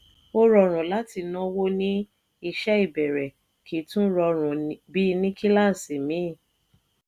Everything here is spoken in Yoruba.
ọ rọrùn láti náwó ní iṣẹ́ ìbẹ̀rẹ̀ kì tún rọrùn bí ní kíláàsì míìn.